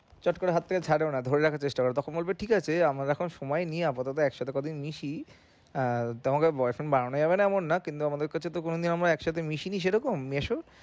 চট করে হাত থেকে ছাড়েও না ধরে রাখার চেষ্টা করে তখন বলবে ঠিক আছে আমরা এখন সময় নেই আপাতত একসাথে কয়দিন মিশি আহ তোমাকে boyfriend বানানো যাবেনা এমন না কিন্তু আমাদের কাছে তো কোনো একসাথে মিশিনি সেরকম মিশি